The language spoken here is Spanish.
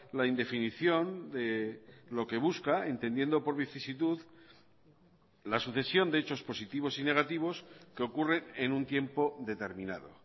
la indefinición de lo que busca entendiendo por vicisitud la sucesión de hechos positivos y negativos que ocurre en un tiempo determinado